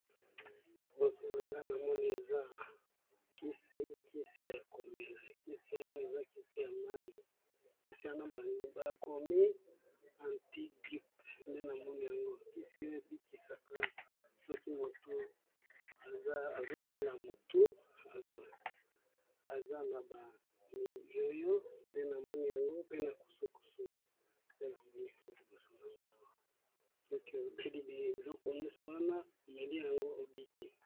Liboso na nga na moni eza kisi, kisi ya komela. Kisi oyo, eza kisi ya mai. kisi wana ba komi anti gripe. Nde na moni yango, kisi oyo ebikisaka soki moto azo bela motu, aza na ba miyoyo, de na moni yango. Pe na kusukusu. Pe na monî yango liboso ya nga awa. Soki omelî biloko nyonso wana omeli yango obiki.